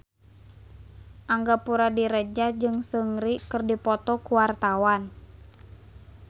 Angga Puradiredja jeung Seungri keur dipoto ku wartawan